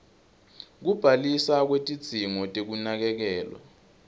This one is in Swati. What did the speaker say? kubhaliswa kwetidzingo tekunakekelwa